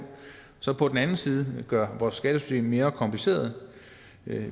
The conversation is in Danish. så på den anden side gør vores skattesystem mere kompliceret